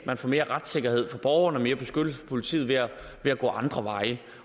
man får mere retssikkerhed for borgerne og mere beskyttelse for politiet ved at gå andre veje